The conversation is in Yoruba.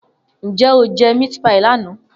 Nje o je meat pie lana?